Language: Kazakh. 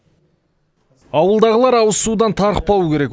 ауылдағылар ауызсудан тарықпау керек